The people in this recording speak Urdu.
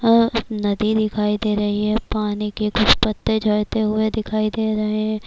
ا ایک ندی دکھایی دے رہی ہیں، پانی پی کچھ پتےجھڈتے ہوئے دکھایی دے رہی ہیں--